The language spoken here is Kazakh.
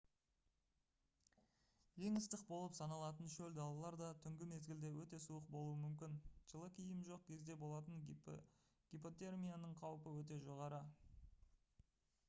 ең ыстық болып саналатын шөл далалар да түнгі мезгілде өте суық болуы мүмкін жылы киім жоқ кезде болатын гипотермияның қаупі өте жоғары